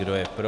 Kdo je pro.